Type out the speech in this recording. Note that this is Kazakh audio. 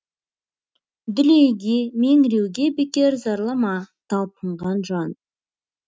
дүлейге меңіреуге бекер зарлама талпынған жан